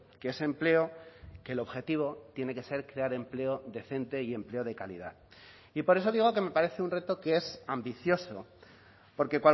que ese empleo que el objetivo tiene que ser crear empleo decente y empleo de calidad y por eso digo que me parece un reto que es ambicioso porque